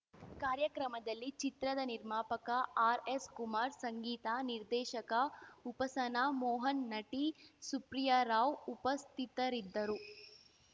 ಕಾರ್ಯಕ್ರಮದಲ್ಲಿ ಚಿತ್ರದ ನಿರ್ಮಾಪಕ ಆರ್‌ಎಸ್‌ಕುಮಾರ್‌ ಸಂಗೀತ ನಿರ್ದೇಶಕ ಉಪಸನಾ ಮೋಹನ್‌ ನಟಿ ಸುಪ್ರಿಯಾರಾವ್‌ ಉಪಸ್ಥಿತರಿದ್ದರು